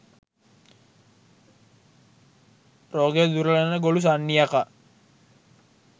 රෝගය දුරලන ගොළු සන්නි යකා